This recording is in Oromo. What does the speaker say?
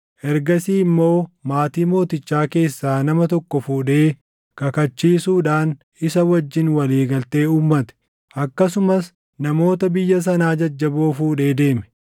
Ergasii immoo maatii mootichaa keessaa nama tokko fuudhee kakachiisuudhaan isa wajjin walii galtee uummate. Akkasumas namoota biyya sanaa jajjaboo fuudhee deeme;